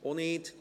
– Auch nicht.